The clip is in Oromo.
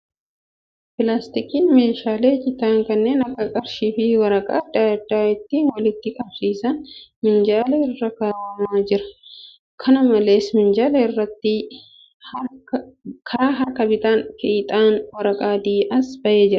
Pilaastikiin meeshaalee citan kanneen akka qarshii fi waraqaa adda addaa ittiin walitti qabsiisan minjaala irra kaa'amew jira . Kana malees, minjaala irratti karaa harka bitaan fiixeen waraqaa adii as ba'ee jira.